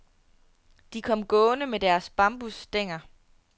De kom gående med deres bambusstænger.